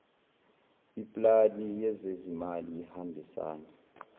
iplani yezezimali ihambisana